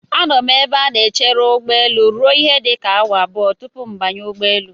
Anọ m n'ebe a na-echere ụgbọelu ruo ihe dịka awa abụọ tupu m banye n'ụgbọelu.